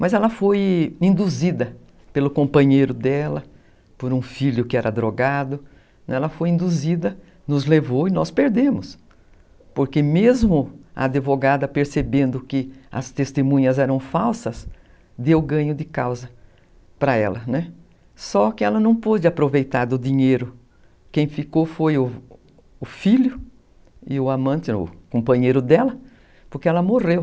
Mas ela foi induzida pelo companheiro dela, por um filho que era drogado, ela foi induzida, nos levou e nós perdemos, porque mesmo a advogada percebendo que as testemunhas eram falsas, deu ganho de causa para ela. Só que ela não pôde aproveitar do dinheiro, quem ficou foi o filho e o amante, o companheiro dela, porque ela morreu.